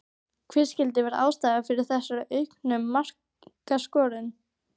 Hver skyldi vera ástæðan fyrir þessari auknu markaskorun?